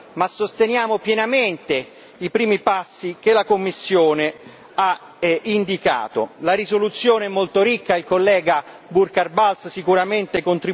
E, quindi, delineiamo anche una visione più ampia, più di prospettiva, ma sosteniamo pienamente i primi passi che la Commissione ha indicato.